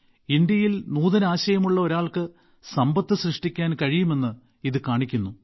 ഇന്ത്യയിൽ നൂതനാശയമുള്ള ഒരാൾക്ക് സമ്പത്ത് സൃഷ്ടിക്കാൻ കഴിയുമെന്ന് ഇത് കാണിക്കുന്നു